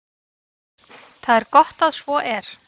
Það er gott að svo er.